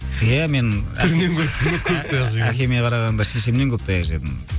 әкеме қарағанда шешемнен көп таяқ жедім